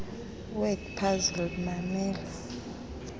word puzzle mamela